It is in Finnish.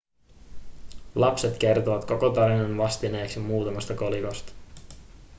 lapset kertovat koko tarinan vastineeksi muutamasta kolikosta